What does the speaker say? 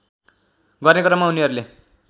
गर्ने क्रममा उनीहरूले